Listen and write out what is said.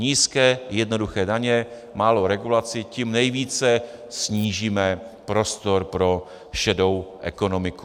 Nízké, jednoduché daně, málo regulací, tím nejvíce snížíme prostor pro šedou ekonomiku.